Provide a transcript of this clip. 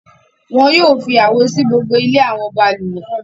Wọn yóò fi àwo sí gbogbo ilẹ̀ àwọn balùwẹ̀.